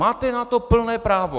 Máte na to plné právo.